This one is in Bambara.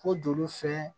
Ko juru fɛ